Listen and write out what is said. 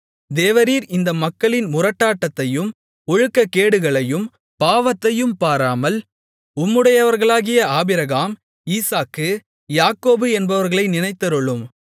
தேவரீர் இந்த மக்களின் முரட்டாட்டத்தையும் ஒழுக்கக்கேடுகளையும் பாவத்தையும் பாராமல் உம்முடையவர்களாகிய ஆபிரகாம் ஈசாக்கு யாக்கோபு என்பவர்களை நினைத்தருளும்